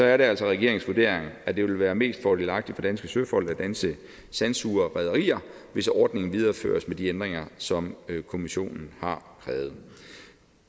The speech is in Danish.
er det altså regeringens vurdering at det vil være mest fordelagtigt for danske søfolk og danske sandsugere og rederier hvis ordningen videreføres med de ændringer som kommissionen har krævet